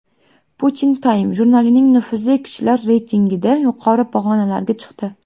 Putin Time jurnalining nufuzli kishilar reytingida yuqori pog‘onalarga chiqdi.